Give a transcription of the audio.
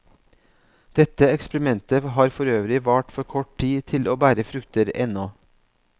Dette eksperimentet har forøvrig vart for kort tid til å bære frukter ennå.